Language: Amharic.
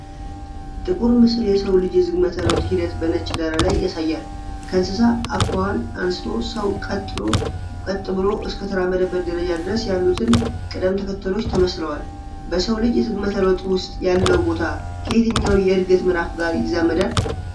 ጥቁር ምስል የሰው ልጅ የዝግመተ ለውጥ ሂደት በነጭ ዳራ ላይ ያሳያል። ከእንስሳ አኳኋን አንስቶ ሰው ቀጥ ብሎ እስከተራመደበት ደረጃ ድረስ ያሉትን ቅደም ተከተሎች ተመስለዋል። በሰው ልጅ የዝግመተ ለውጥ ውስጥ ያለው ቦታ ከየትኛው የእድገት ምዕራፍ ጋር ይዛመዳል?